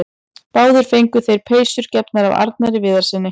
Báðir fengu þeir peysur gefnar af Arnari Viðarssyni.